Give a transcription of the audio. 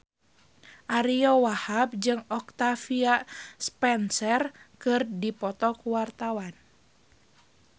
Ariyo Wahab jeung Octavia Spencer keur dipoto ku wartawan